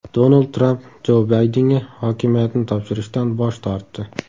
Donald Tramp Jo Baydenga hokimiyatni topshirishdan bosh tortdi.